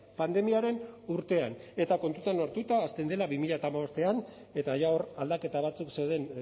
pandemiaren urtean eta kontuan hartuta hasten dela bi mila hamabostean eta ja hor aldaketa batzuk zeuden